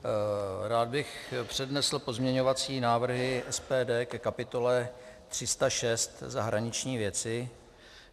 Rád bych přednesl pozměňovací návrhy SPD ke kapitole 306 Zahraniční věci.